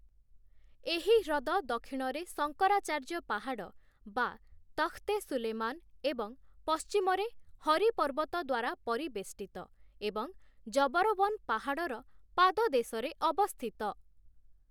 ଏହି ହ୍ରଦ ଦକ୍ଷିଣରେ ଶଙ୍କରାଚାର୍ଯ୍ୟ ପାହାଡ଼ (ତଖ୍‌ତ-ଏ-ସୁଲେମାନ) ଏବଂ ପଶ୍ଚିମରେ ହରି ପର୍ବତ ଦ୍ଵାରା ପରିବେଷ୍ଟିତ ଏବଂ ଜବରୱନ ପାହାଡ଼ର ପାଦଦେଶରେ ଅବସ୍ଥିତ ।